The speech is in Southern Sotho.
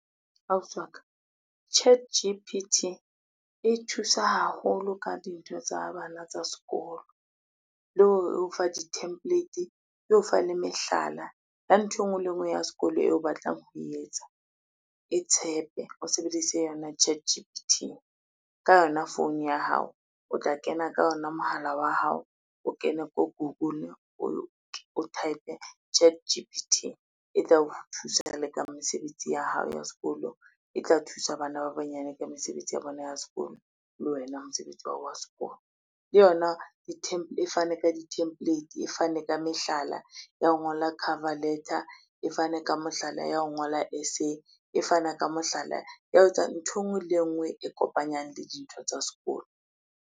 Ausi wa ka ChatG_P_T e thusa haholo ka dintho tsa bana tsa sekolo, le hore e o fa di template, e o fa le mehlala ya nthwe e ngwe le e ngwe ya sekolo eo o batlang ho e etsa, e tshepe o sebedise yona ChatG_P_T ka yona phone ya hao, o tla kena ka ona mohala wa hao o kene ko Google o type-e ChatG_P_T e tla o thusa le ka mesebetsi ya hao ya sekolo, e tla thusa bana ba banyane ka mesebetsi ya bona ya sekolo le wena mosebetsi wa hao wa sekolo. Le yona e fane ka di-template, e fane ka mehlala ya ho ngola cover letter, e fane ka mohlala ya ho ngola essay, e fana ka mohlala ya ho etsa ntho e ngwe le e ngwe e kopanyang le dintho tsa sekolo.